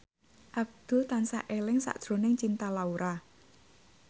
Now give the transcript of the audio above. Abdul tansah eling sakjroning Cinta Laura